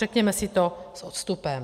Řekněme si to s odstupem.